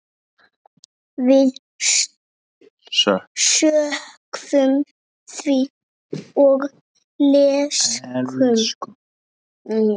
Við söknum þín og elskum.